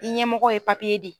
Ni ɲɛmɔgɔ ye di.